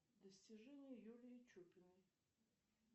достижения юлии чупиной